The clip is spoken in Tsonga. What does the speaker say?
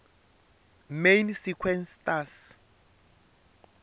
main sequence stars